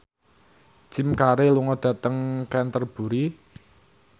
Jim Carey lunga dhateng Canterbury